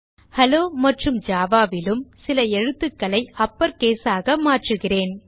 hello மற்றும் java ல் சில எழுத்துக்களையும் அப்பர்கேஸ் ஆக மாற்றுகிறேன்